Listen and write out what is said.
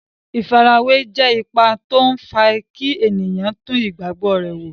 Ìfarawé jẹ́ ipa tó n fa kí ènìyàn tún ìgbàgbọ́ rẹ̀ wò